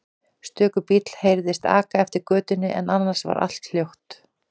Stöku bíll heyrðist aka eftir götunni en annars var allt hljótt.